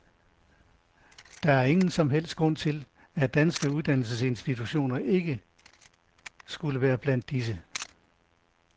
Der er ingen som helst grund til, at danske uddannelsesinstitutioner ikke skulle være blandt disse.